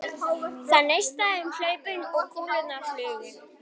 Það neistaði um hlaupin og kúlurnar flugu.